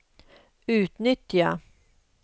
utnyttja